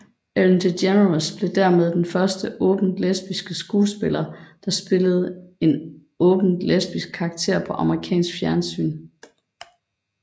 Ellen DeGeneres blev dermed den første åbent lesbiske skuespiller der spillede en åbent lesbisk karakter på amerikansk fjernsyn